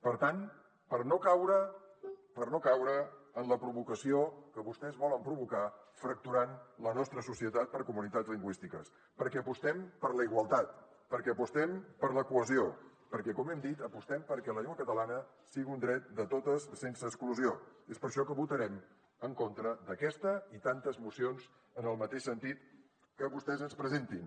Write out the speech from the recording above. per tant per no caure en la provocació que vostès volen provocar fracturant la nostra societat per comunitats lingüístiques perquè apostem per la igualtat perquè apostem per la cohesió perquè com hem dit apostem perquè la llengua catalana sigui un dret de totes sense exclusió és per això que votarem en contra d’aquesta i tantes mocions en el mateix sentit que vostès ens presentin